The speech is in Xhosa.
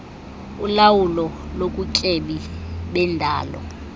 ulawulo lobutyebi bendalo